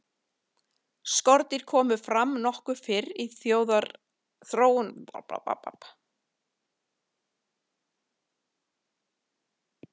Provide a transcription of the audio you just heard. skordýr komu fram nokkuð fyrr í þróunarsögu jarðar en fyrstu skriðdýrin